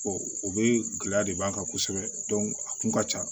o bee gɛlɛya de b'an kan kosɛbɛ a kun ka ca